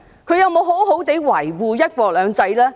她有沒有好好維護"一國兩制"呢？